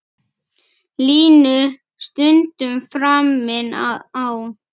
Línu stundum framinn á.